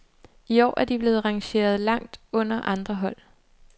I år er de blevet rangeret langt under andre hold.